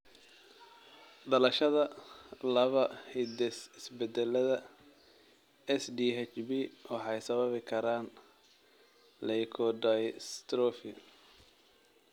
Dhaxalashada laba hidde-isbeddellada SDHB waxay sababi karaan leukodystrophy.